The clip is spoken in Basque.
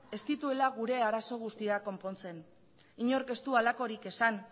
ez dituela gure arazoa guztiak konpontzen inork ez du halakorik esan